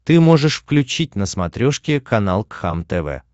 ты можешь включить на смотрешке канал кхлм тв